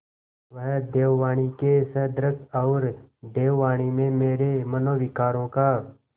वह देववाणी के सदृश हैऔर देववाणी में मेरे मनोविकारों का